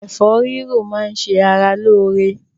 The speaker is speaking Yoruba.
Ẹ̀fọ́ rírò máá ń ṣe ara lóore.